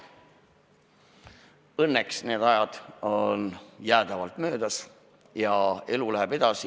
Õnneks on need ajad jäädavalt möödas ja elu läheb edasi.